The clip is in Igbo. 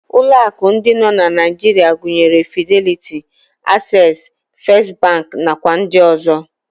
Ụlọ akụ ndị nọ na Naijiria gụnyere Fideliti, Aksesị, Fest bankị, nakwa ndị ọzọ.